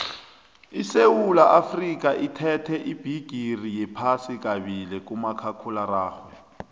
isewula afrikha ithethe ubhigiri wephasi kabili kumakhakhulararhwe